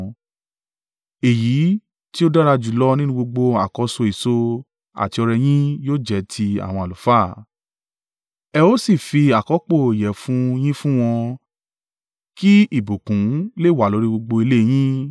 Èyí tí ó dára jùlọ nínú gbogbo àkọ́so èso àti ọrẹ yín yóò jẹ́ ti àwọn àlùfáà. Ẹ ó sì fi àkọ́pò ìyẹ̀fun yín fún wọn kí ìbùkún lè wà lórí gbogbo ilé yín.